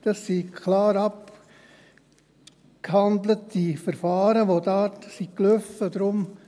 Das sind klar abgehandelte Verfahren, die da gelaufen sind.